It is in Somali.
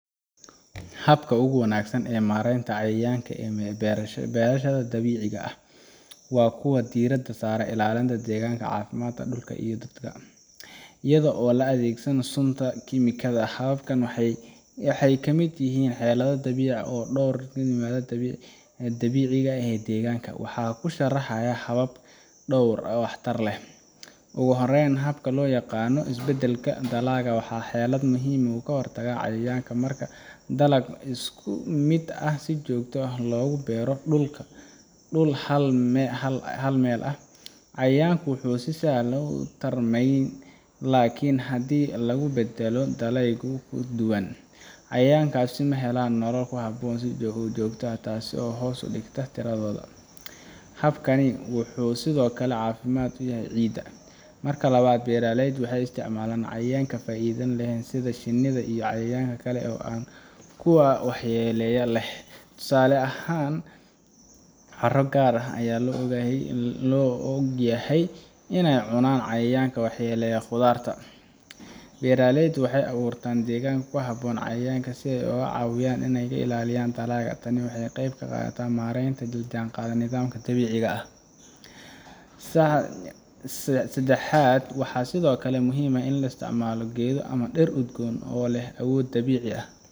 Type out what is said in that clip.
Habka ugu wanaagsan ee maaraynta cayayaanka ee beerashada dabiiciga ah waa kuwa diiradda saaraya ilaalinta deegaanka cafimaat ah iyo dadka, iyadoo la adeegsanayo suntakiimikooyinka. Hababkan waxay ka mid yihiin xeelado dabiici ah oo dhowr u ah deegaanka. Waxaan hoos ku sharxayaa dhowr hab oo waxtar leh: taan kowaaat Is-bedbedelka dalagga Tani waa xeelad muhiim ah oo ka hortagta cayayaanka. Marka dalag isku mid ah si joogto ah looga beero dhul hal meel ah, cayayaanku wuxuu si sahlan ugu tarmayaa halkaas. Laakiin haddii la beddelo dalagyada kala duwan, cayayaankaasi ma helaan nolol ku habboon si joogto ah, taas oo hoos u dhigaysa tiradooda. Habkani wuxuu sidoo kale caafimaad u yahay ciidda. taan lawaat Isticmaalka cayayaanka faa’iidada leh Beeraleydu waxay adeegsadaan cayayaanka faa’iidada leh sida shinnida iyo cayayaanka kale ee kuwa waxyeellada leh. Tusaale ahaan, caro gaar ah ayaa loo yaqaannaa inay cunaan cayayaanka waxyeellada qudaarteena. Beeraleydu waxay abuuraan deegaan gaar ah si ay ugu caawiyaan ilaalinta dalagyada. Tani waxay qayb ka qadhata maaraynta dabiiciga ah. taan sadaxaat waxaa sidhokale muhhim aaah in la isticmaalo geedoama diir udgoon oo leeh awood dabicii aah